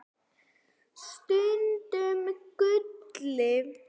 Stundum Gulli.